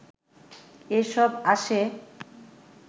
এসব আসে